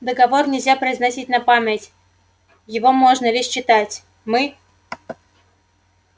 договор нельзя произносить на память его можно лишь читать мы